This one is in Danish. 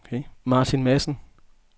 Martin Madsen